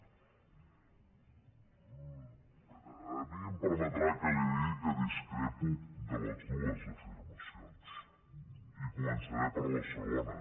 a mi em permetrà que li digui que discrepo de les dues afirmacions i començaré per la segona